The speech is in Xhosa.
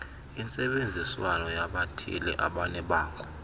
intsebenziswano yabathile ebanebango